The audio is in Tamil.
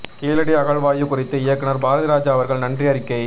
கீழடி அகழாய்வு குறித்து இயக்குனர் பாரதிராஜா அவர்கள் நன்றி அறிக்கை